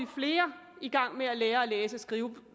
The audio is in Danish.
flere i gang med at lære at læse og skrive